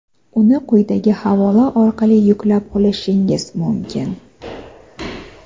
uni quyidagi havola orqali yuklab olishingiz mumkin.